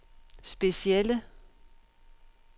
specielle